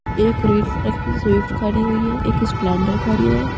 एक red colour की Swift खड़ी हुई है। एक स्प्लेंडर खड़ी है।